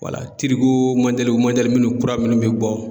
minnu kura minnu bɛ bɔ